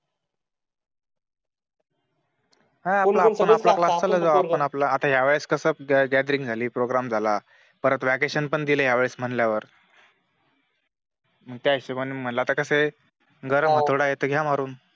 हम्म आता या वेळे कस गॅथेरिन्ग झाली. प्रोग्रॅम झाला परत व्हॅकेशनं पण दिले या वेळेस म्हटल्यावर मग त्या हिशोबाने तर मग कस आहे गरम आहे हाथोडा आहे तर घ्या मारून